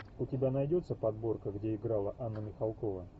у тебя найдется подборка где играла анна михалкова